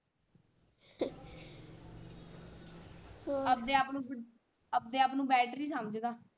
ਆਪਦੇ ਆਪ ਨੂੰ ਆਪਦੇ ਆਪ ਨੂੰ ਸਮਝਦਾ।